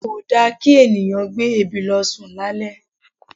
Kò da kí ènìyàn gbé ebi lọ sùn lálẹ́.